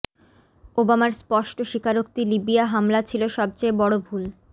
ওবামার স্পষ্ট স্বীকারোক্তি লিবিয়া হামলা ছিল সবচেয়ে বড় ভুল